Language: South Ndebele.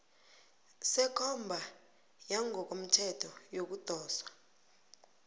sekomba yangokomthetho yokudoswa